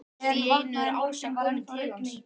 Allt í einu er Ása komin til hans.